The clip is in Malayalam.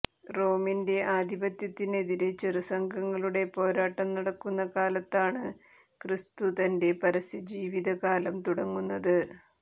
റോമിന്റെ ആധിപത്യത്തിനെതിരെ ചെറുസംഘങ്ങളുടെ പോരാ ട്ടം നടക്കുന്ന കാലത്താണ് ക്രിസ്തു തന്റെ പരസ്യജീവിത കാലം തുടങ്ങുന്നത്